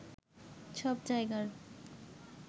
সব জায়গার